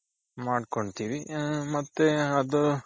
ಮಾಡ್ಕೊಂತಿವಿ ಹ ಮತ್ತೆ ಅದು,